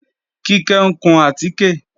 Kíkẹ́ ń kun àtíkè